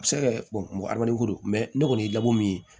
A bɛ se ka kɛ mɔgɔ ni ko don ne kɔni ye labɔ min ye